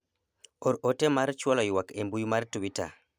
or ote mar chwalo ywak e mbui mar twita